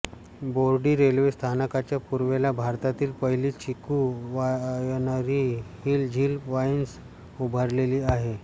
Bordi railway स्थानकाच्या पूर्वेला भारतातील पहिली chikoo winery Hill Zill Wines उभारलेली आहे